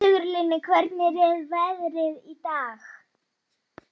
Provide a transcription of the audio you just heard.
Dóra, hringdu í Kristmundínu eftir sextíu og níu mínútur.